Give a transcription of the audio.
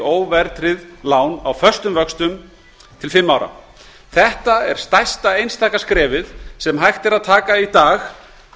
óverðtryggð lán á föstum vöxtum til fimm ára það er stærsta einstaka skrefið sem hægt er að stíga í dag